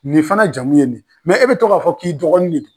Nin fana jamu ye nin, e bɛ tɔ k'a fɔ k'i dɔgɔnin.